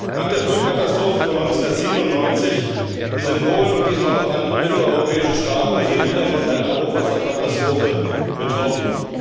Nach der Flutkatastrophe von 1997 sind Polen und diesmal auch andere mitteleuropäische Staaten wieder von einer Hochwasserkatastrophe betroffen.